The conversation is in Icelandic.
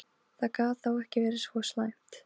Það gat þá ekki verið svo slæmt.